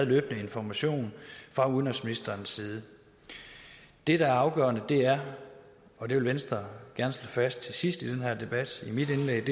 været information fra udenrigsministerens side det der er afgørende er og det vil venstre gerne slå fast til sidst i den her debat i mit indlæg